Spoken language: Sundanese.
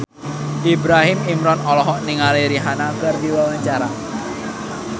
Ibrahim Imran olohok ningali Rihanna keur diwawancara